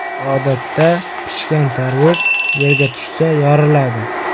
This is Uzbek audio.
Odatda pishgan tarvuz yerga tushsa yoriladi.